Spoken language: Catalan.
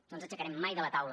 no ens aixecarem mai de la taula